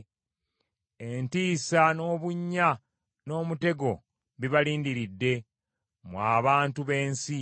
Entiisa n’obunnya n’omutego bibalindiridde, mmwe abantu b’ensi.